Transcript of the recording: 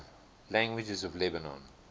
languages of lebanon